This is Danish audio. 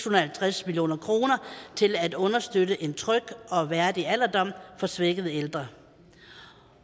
og halvtreds million kroner til at understøtte en tryg og værdig alderdom for svækkede ældre